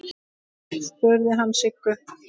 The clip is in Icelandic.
spurði hann Sigga.